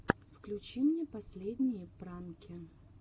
включи мне последние пранки